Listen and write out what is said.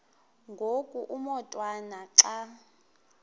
ngoku umotwana xa